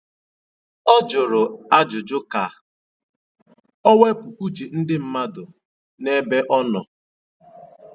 O jụrụ ajụjụ ka o wepụ uche ndị mmadụ n'ebe ọ nọ